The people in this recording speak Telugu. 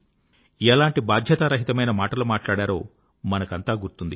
ఎలాంటి బాధ్యతారహితమైన మాటలు మాట్లాడారో మనకంతా గుర్తుంది